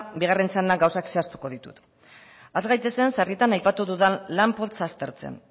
bigarren txandan gauzak zehaztuko ditut has gaitezen sarritan aipatu dudan lan poltsa aztertzen